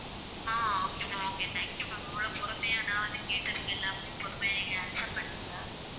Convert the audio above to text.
Ah okay ma'am okay, thank you ma'am. இவ்வளவு பொறுமையா நான் வந்து கேட்டதுக்கு எல்லாத்துக்கும் பொறுமையா நீங்க answer பண்ணீங்க,